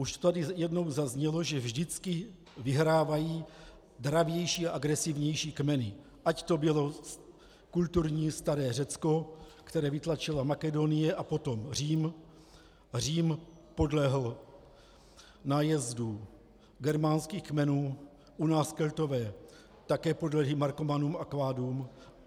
Už tady jednou zaznělo, že vždycky vyhrávají dravější a agresivnější kmeny, ať to bylo kulturní staré Řecko, které vytlačila Makedonie a potom Řím, Řím podlehl nájezdu germánských kmenů, u nás Keltové také podlehli Markomanům a Kvádům.